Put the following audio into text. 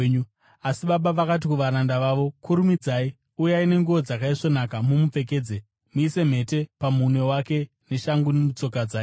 “Asi baba vakati kuvaranda vavo, ‘Kurumidzai! Uyai nenguo dzakaisvonaka mumupfekedze. Muise mhete pamunwe wake neshangu mutsoka dzake.